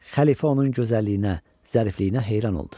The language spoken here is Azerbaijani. Xəlifə onun gözəlliyinə, zərifliyinə heyran oldu.